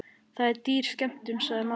Það er dýr skemmtun, sagði maðurinn.